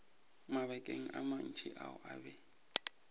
mabakeng a mantši o be